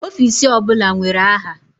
Ọfisi ọbụla nwere aha.